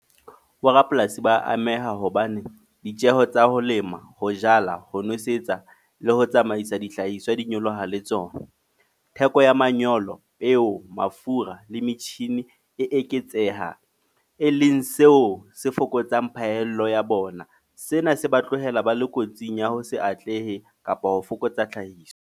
Bo rapolasi ba ameha. Hobane ditjeho tsa ho lema, ho jala, ho nwesetsa, le ho tsamaisa dihlahiswa di nyoloha le tsona. Theko ya manyolo, peo, mafura, le metjhini, e eketseha e leng seo se fokotsang phahello ya bona. Sena se ba tlohela ba le kotsing ya ho se atlehe, kapa ho fokotsa tlhahiso.